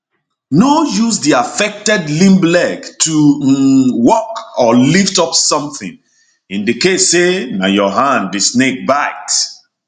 no use di affected limb leg to um walk or lift up sometin in di case say na your hand di snake bite